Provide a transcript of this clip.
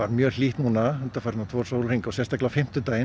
mjög hlýtt undanfarna sólarhringa og sérstaklega á fimmtudaginn